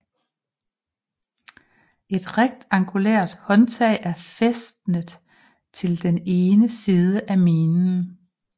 Et rektangulært håndtag er fæstnet til den ene side af minen